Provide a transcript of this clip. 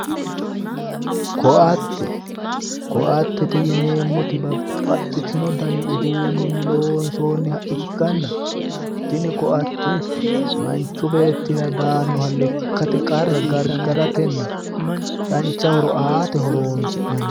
koatte koattete yineemmmoti babbaxitino dani uduunninni loonsoonniha ikkanna tini koatte manchu beettira daanoha lekkate qarra gargaratenna dancha horo aate horonsi'nanni.